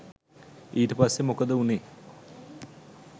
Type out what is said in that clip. ඊට පස්සේ මොකද වුණේ